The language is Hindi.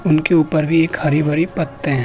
उनके ऊपर भी एक हरी-भारी पत्ते हैं।